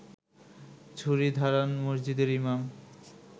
ছুরি ধারান মসজিদের ইমাম